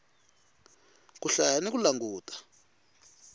ku hlaya ni ku languta